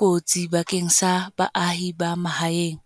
kotsi bakeng sa baahi ba mahaeng.